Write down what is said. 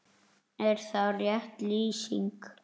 Er það rétt lýsing?